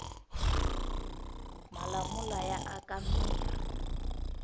malamula ya aka mirhi